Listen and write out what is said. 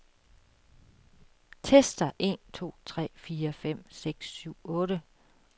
Tester en to tre fire fem seks syv otte.